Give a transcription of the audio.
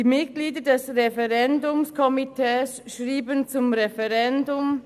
Die Mitglieder des Referendumskomitees schrieben zum Referendum: